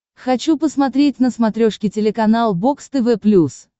хочу посмотреть на смотрешке телеканал бокс тв плюс